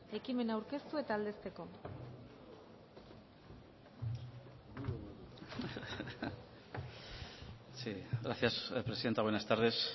ekimena aurkeztu eta aldezteko gracias presidenta buenas tardes